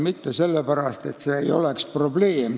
Mitte sellepärast, nagu see ei oleks probleem.